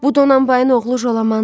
Bu Donanbayın oğlu Jalamandır.